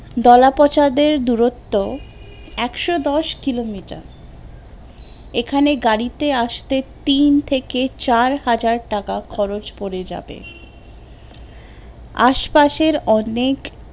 দলাপঁছাদের দূরত্ব একশো দশ কিলো মিটার, এখানে গাড়িতে আসতে তিন থেকে চার হাজার টাকা খরচ পড়ে যাবে, আশপাশের অনেক